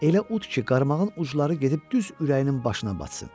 Elə ud ki, qarmağın ucları gedib düz ürəyinin başına batsın.